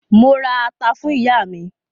Mo ra ata fún ìyá mi.